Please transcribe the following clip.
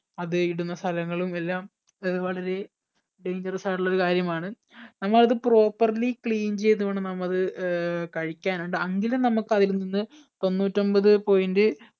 അത് ഇടുന്ന സ്ഥലങ്ങളും എല്ലാം അത് വളരെ dangerous ആയിട്ടുള്ള ഒരു കാര്യമാണ് നമ്മ അത് properly clean ചെയ്ത് വേണം നമ്മ അത് ഏർ കഴിക്കാൻ ഉണ്ട് എങ്കിലും നമ്മക്ക് അത്ലിൽ നിന്ന് തൊണ്ണൂറ്റി ഒൻപത് point